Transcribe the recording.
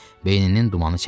Beyninin dumanı çəkildi.